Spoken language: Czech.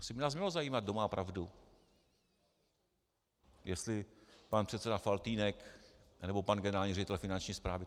Asi by nás mělo zajímat, kdo má pravdu, jestli pan předseda Faltýnek, nebo pan generální ředitel Finanční správy.